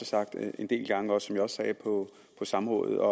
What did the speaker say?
sagt en del gange og som jeg også sagde på samrådet